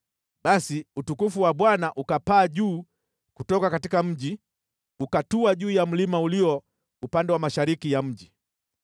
Basi utukufu wa Bwana ukapaa juu kutoka mji, ukatua juu ya mlima ulio upande wa mashariki ya mji.